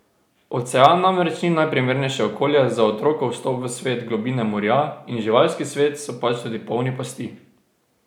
Ocean namreč ni najprimernejše okolje za otrokov vstop v svet, globine morja in živalski svet so pač tudi polni pasti.